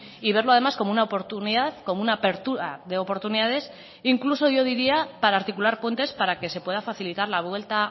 y verlo además como una oportunidad como una apertura de oportunidades incluso yo diría para articular puentes para que se pueda facilitar la vuelta